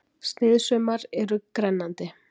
Sniðsaumar eru grennandi